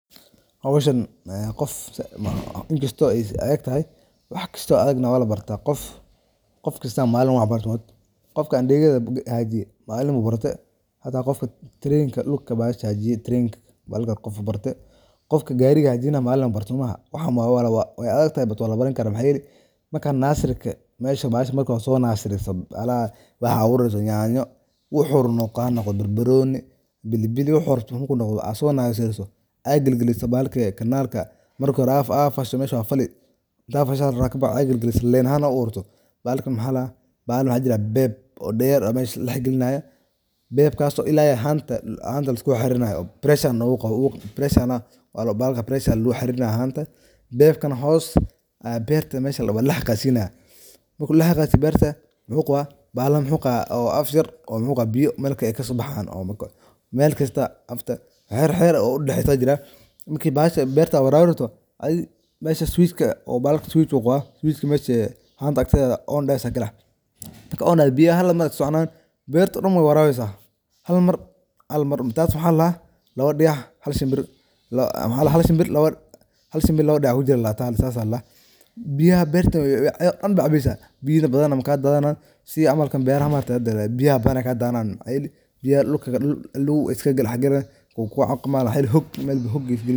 Hawshan ee qofka inkasto ay adagtahay waxkasto adag na waa labarta qof qofkasta malin u wax barta. Qofka andeegada haadiyo malin bu barte hata qofka train ka lugta bahasha hagaajiyo train ka bahalka qofa barte qofka gaariga hagajinaya malin u barte soomaaha. Wax walbo way adagtahay balse waa labaran kara maxa yeele marka nasirka mesha bahasha marka hore so naasiriso ala waxaa abuurayso yanyo waxuu rabo hanoqda barbanoni bilbili waxuu rabo marku noqda asonaasayso aa gilgiliso bahalka marka hore aa fasho mesha waa fali marka aa fasho kabacdi aa gilgiliso leen ahaan aa u abuurto bahalka maxaa ladaha bahal maxaa jira pipe oo daga yar oo mesha ladaxgalinayo beertaso ila iyo haanta la iskusoxaririnayo pressure ne wuu qaba waa lagu xaririnaya hanta pipe kan hos waa aa pipe aa waa ladax qaadsiinaya. Marki ladaxqadsiiyo beerta waxuu qaba bahala na waxuu qaba bahala oo maxuu qaba oo afyar oo biya melkala ay kasobaxayan oo melkasta waxyar waxyar u dadaxaysa jiran marki bahasha beerta aa waraabinayso adi mesha switch ka oo bahalka switch uu qaba mesha hanta akteeda oo m-pesa ku leh. Oo na biyaha halmar ee soconayan mesha dan way warabinaysa halmar taas waxaa ladaha hal shimbir laba dagax ku dil aa ladaha taa sas a ladaha. Biyaha beerta ayado dan baa cabaysa biya badan na makadanayan sida camal kan beeraha ma argte hada biyaha badana ka dadanayan biyaha dhul ay iska daxgaalayan wuu ku caawimadi mxa yeele hog mel hog yu galini.